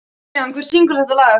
Julian, hver syngur þetta lag?